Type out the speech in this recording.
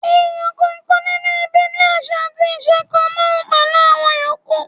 Èèyàn kọ̀ọ̀kan nínú ẹbí ní àṣà àti iṣẹ̀ kan náà pẹ̀lú àwọn yòókù.